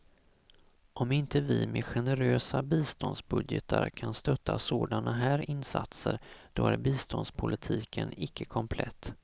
Om inte vi med generösa biståndsbudgetar kan stötta sådana här insatser, då är biståndspolitiken icke komplett.